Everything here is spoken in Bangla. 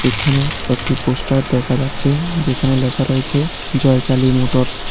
এখানে একটি পোস্টার দেখা যাচ্ছে যেখানে লেখা রয়েছে জয়কালী মোটরস ।